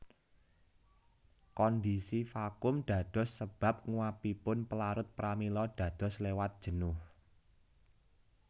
Kondisi vakum dados sébab nguapipun pélarut pramila dados lewat jénuh